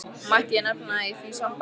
Mætti ég nefna í því sambandi syni mína.